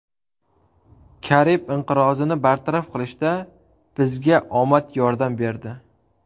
Karib inqirozini bartaraf qilishda bizga omad yordam berdi.